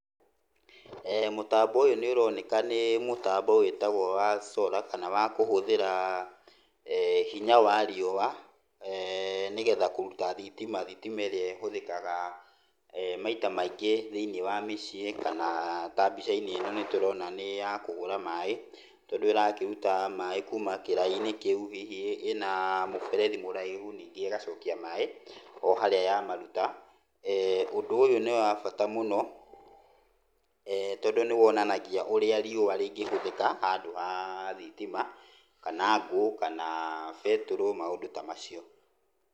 Mũtambo ũyũ nĩ ũroneka nĩ mũtambo wĩtagwo wa solar kana wa kũhũthĩra hinya wa riũwa nĩgetha kũruta thitima, thitima ĩrĩa ĩhũthĩkaga maita maingĩ thĩiniĩ wa mĩciĩ, kana ta mbica-inĩ ĩno nĩtũrona nĩ ya kũhũra maaĩ tondũ ĩrakĩruta maaĩ kuuma kĩraĩ-inĩ kĩu hihi ĩna mũberethi mũraihu ningĩ ĩgacokia maaĩ oharĩa yamaruta, ũndũ ũyũ nĩwa bata mũno tondũ nĩwonanagia ũrĩa riũwa rĩngĩhũthĩka handũ ha thitima, kana ngũũ, kana betũrũ, maũndkũ ta macio.